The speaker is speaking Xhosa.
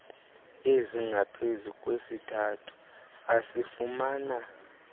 ezingaphezu kwesithathu asifumana